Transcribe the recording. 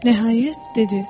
Nəhayət, dedi: